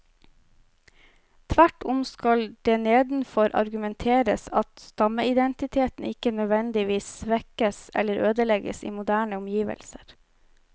Tvert om skal det nedenfor argumenteres at stammeidentiteten ikke nødvendigvis svekkes eller ødelegges i moderne omgivelser.